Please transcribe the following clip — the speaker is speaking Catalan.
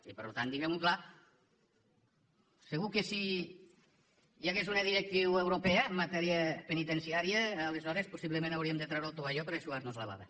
i per tant diguemho clar segur que si hi hagués una directriu europea en matèria penitenciària aleshores possiblement hauríem de treure el tovalló per eixugarnos la bava